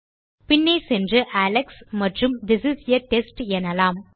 பின்னே சென்று அலெக்ஸ் மற்றும் திஸ் இஸ் ஆ டெஸ்ட் எனலாம்